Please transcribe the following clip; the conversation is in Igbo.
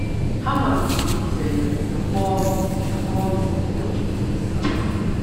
Ha malitere ịzere m ma kpọọ m ma kpọọ m ụkọchukwu um.